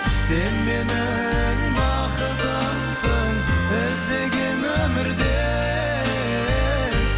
сен менің бақытымсың іздеген өмірде